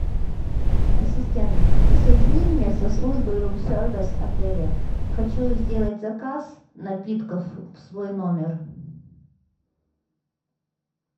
ассистент соедини меня со службой рум сервис отеля хочу сделать заказ напитков в свой номер